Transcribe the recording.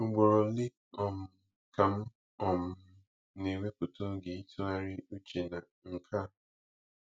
Ugboro ole um ka m um na-ewepụta oge ịtụgharị uche na nke a?